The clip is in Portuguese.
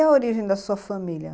E a origem da sua família?